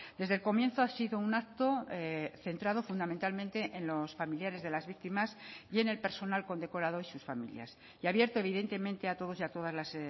desde el comienzo ha sido un acto centrado fundamentalmente en los familiares de las víctimas y en el personal condecorado y sus familias y abierto evidentemente a todos y a todas las